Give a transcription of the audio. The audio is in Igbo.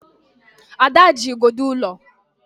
Ada nọ na igodo ụlọ